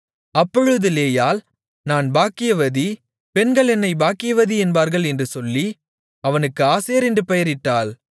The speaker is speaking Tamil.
அப்பொழுது லேயாள் நான் பாக்கியவதி பெண்கள் என்னைப் பாக்கியவதி என்பார்கள் என்று சொல்லி அவனுக்கு ஆசேர் என்று பெயரிட்டாள்